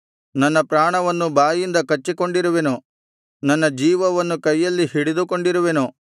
ನನ್ನ ಪ್ರಾಣವನ್ನು ಬಾಯಿಂದ ಕಚ್ಚಿಕೊಂಡಿರುವೆನು ನನ್ನ ಜೀವವನ್ನು ಕೈಯಲ್ಲಿ ಹಿಡಿದುಕೊಂಡಿರುವೆನು